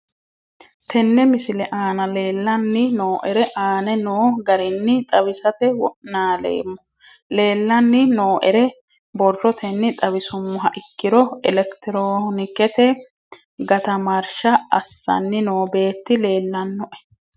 Tene misile aana leelanni nooerre aane noo garinni xawisate wonaaleemmo. Leelanni nooerre borrotenni xawisummoha ikkiro electironikette gatamarsha assanni noo beeti leelanoe.